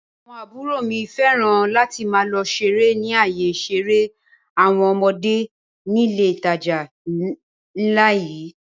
Àwọn àbúrò mi fẹ́ràn láti máa lọ ṣeré ni ayé ìṣeré àwọn ọmọdé nílé ìtajà ńlá yìí